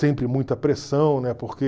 Sempre muita pressão, né, porque...